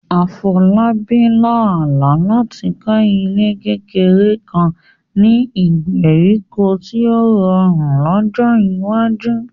Afolabi lá àlá láti kọ́ ilé kékeré kan ní ìgbèríko tí ó rọrùn lọ́jọ́ iwájú.